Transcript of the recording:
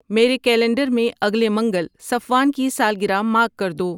میرے کیلنڈر میں اگلے منگل صفوان کی سالگرہ مارک کر دو